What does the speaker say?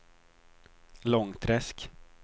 Långträsk